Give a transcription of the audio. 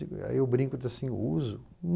Aí eu brinco e digo, sim, eu uso.